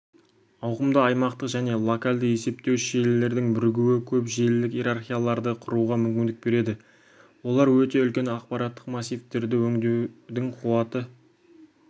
ауқымды аймақтық және локалды есептеуіш желілердің бірігуі көп желілік иерархияларды құруға мүмкіндік береді олар өте үлкен ақпараттық массивтерді өңдеудің қуаты